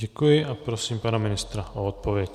Děkuji a prosím pana ministra o odpověď.